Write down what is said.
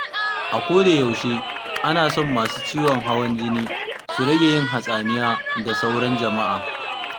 A kodayaushe ana son masu ciwon hawan jini su rage yin hatsaniya da sauran jama'a.